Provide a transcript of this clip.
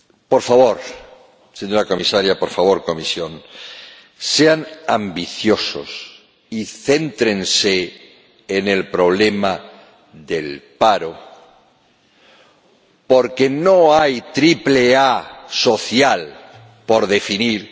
Por favor, señora Comisaria, por favor, Comisión, sean ambiciosos y céntrense en el problema del paro, porque no hay triple A social por definir.